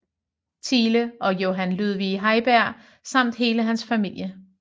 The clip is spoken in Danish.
Thiele og Johan Ludvig Heiberg samt hele hans familie